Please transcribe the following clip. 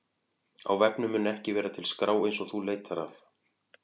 Á vefnum mun ekki vera til skrá eins og þú leitar að.